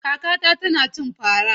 Kakata tana cin fara.